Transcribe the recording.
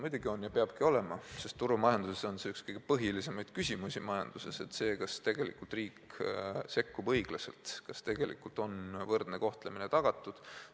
Muidugi on ja peabki olema, sest turumajanduses on üks kõige põhilisemaid küsimusi, kas riik sekkub õiglaselt, kas tegelikult on võrdne kohtlemine tagatud.